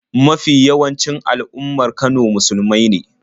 Mafi yawancin al'ummar Kano musulmai ne.